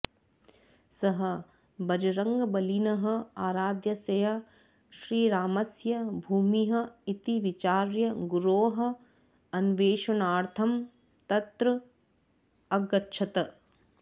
सः बजरङ्गबलिनः आराध्यस्य श्रीरामस्य भूमिः इति विचार्य गुरोः अन्वेषणार्थं तत्र अगच्छत्